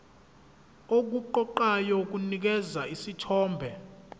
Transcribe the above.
okuqoqayo kunikeza isithombe